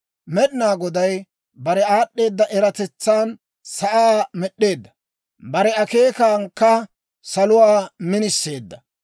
Med'inaa Goday bare aad'd'eeda eratetsan sa'aa med'd'eedda; bare akeekankka salotuwaa miniseedda.